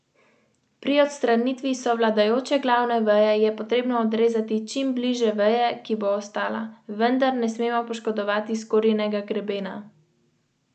Jutri bodo svoja nagrajena dela prebirali tudi v Šalamunovem centru v Ljubljani.